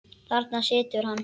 Þarna situr hann.